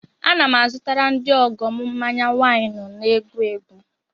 Ana m azụtara ndị ọgọ m mmanya wynu na-egbu egbu.